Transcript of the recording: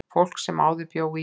Fólk sem áður bjó í